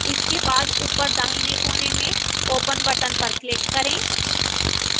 इसके बाद open दाहिने कोने में open button पर click करें